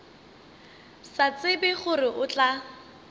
sa tsebe gore o tla